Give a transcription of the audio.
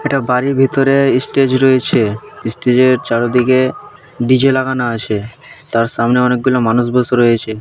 এটা বাড়ি ভেতরে ইস্টেজ রয়েছে ইস্টেজের চারোদিকে ডি_জে লাগানো আছে তার সামনে অনেকগুলো মানুষ বসে রয়েছে।